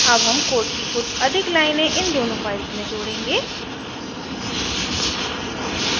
add हम code की कुछ अधिक लाइनें इन दोनों files में जोड़ेंगे